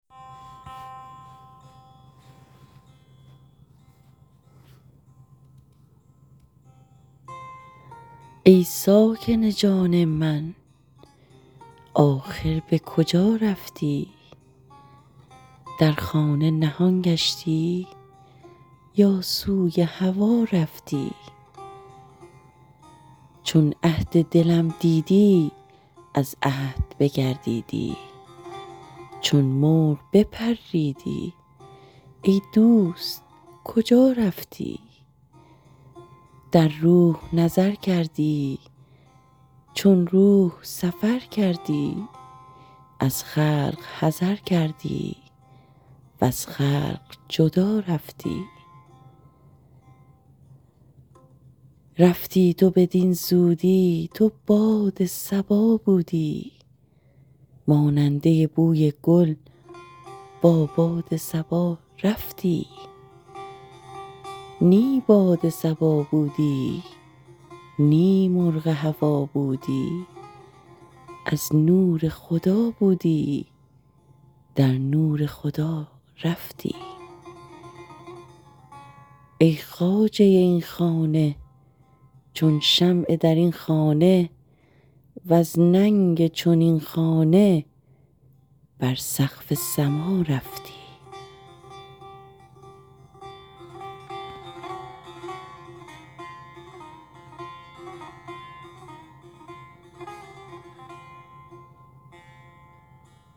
ای ساکن جان من آخر به کجا رفتی در خانه نهان گشتی یا سوی هوا رفتی چون عهد دلم دیدی از عهد بگردیدی چون مرغ بپریدی ای دوست کجا رفتی در روح نظر کردی چون روح سفر کردی از خلق حذر کردی وز خلق جدا رفتی رفتی تو بدین زودی تو باد صبا بودی ماننده بوی گل با باد صبا رفتی نی باد صبا بودی نی مرغ هوا بودی از نور خدا بودی در نور خدا رفتی ای خواجه این خانه چون شمع در این خانه وز ننگ چنین خانه بر سقف سما رفتی